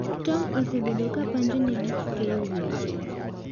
Tom osebedi ka panjo ne gik keyo weche.